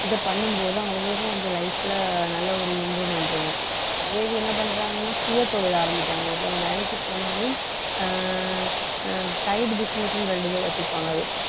இதை பண்ணும் போது அவங்களுக்கும் கொஞ்சம் life ல நல்ல ஒரு improvement இருக்கும் அதே இது என்ன பண்றாங்கன்னா சுயதொழில் ஆரம்பிக்கிறாங்க ஒருத்தவங்க வேலைக்கு போனாலே அஹ் அஹ் side business ன்னு இரண்டு பேர் வச்சிருப்பாங்க